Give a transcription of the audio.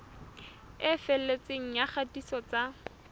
e felletseng ya kgatiso tsa